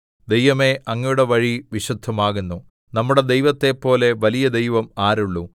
ദൈവമേ അങ്ങയുടെ വഴി വിശുദ്ധമാകുന്നു നമ്മുടെ ദൈവത്തെപ്പോലെ വലിയ ദൈവം ആരുള്ളു